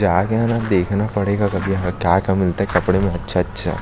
जा के न देखना पड़ेगा यहाँ क्या क्या मिलता है कपड़े में अच्छा अच्छा --